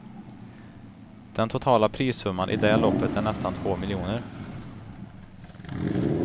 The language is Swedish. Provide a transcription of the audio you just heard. Den totala prissumman i det loppet är nästan två miljoner.